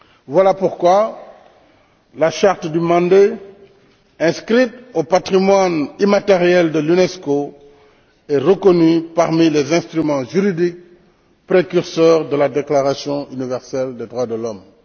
Voilà pourquoi la charte du Mandé, inscrite au patrimoine immatériel de l'UNESCO, est reconnue parmi les instruments juridiques précurseurs de la Déclaration universelle des droits des hommes.